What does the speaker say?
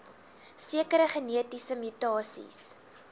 sekere genetiese mutasies